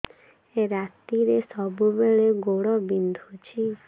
ରାତିରେ ସବୁବେଳେ ଗୋଡ ବିନ୍ଧୁଛି